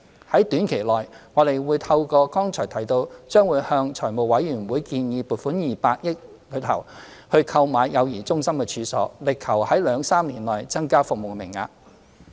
在短期內，我們會透過剛才提到將會向財務委員會建議撥款的200億元中，購買幼兒中心的處所，力求在兩三年內增加服務名額。